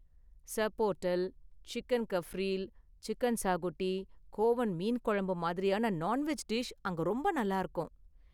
Sorpotel, chicken cafreal, chicken xacuti, Goan மீன் குழம்பு மாதிரியான நான்வெஜ் டிஷ் அங்க ரொம்ப நல்லாருக்கும்.